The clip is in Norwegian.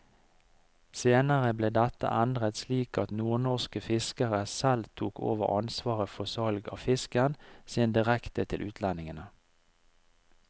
Senere ble dette endret slik at nordnorske fiskere selv tok over ansvaret for salg av fisken sin direkte til utlendingene.